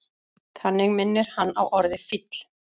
Þannig minnir hann á orðið fíll.